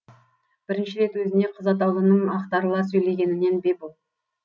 бірінші рет өзіне қыз атаулының ақтарыла сөйлегенінен бе бұл